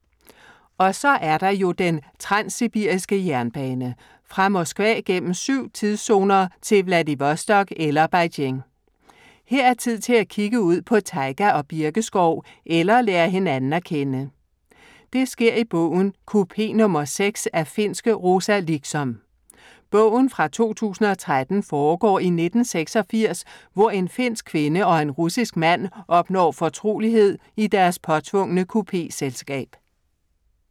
Og så er der jo den transsibiriske jernbane. Fra Moskva gennem syv tidszoner til Vladivostok eller Beijing. Her er tid til at kigge ud på tajga og birkeskov eller lære hinanden at kende. Det sker i bogen Kupé nr. 6 af finske Rosa Liksom. Bogen fra 2013 foregår i 1986, hvor en finsk kvinde og en russisk mand opnår fortrolighed i deres påtvungne kupéselskab.